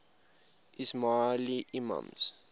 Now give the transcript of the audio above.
ismaili imams